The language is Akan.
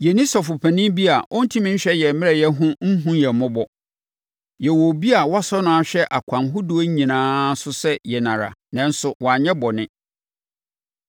Yɛnni sɔfopanin bi a ɔntumi nhwɛ yɛn mmerɛyɛ ho nhunu yɛn mmɔbɔ. Yɛwɔ obi a wɔasɔ no ahwɛ akwan ahodoɔ nyinaa so sɛ yɛn ara, nanso wanyɛ bɔne.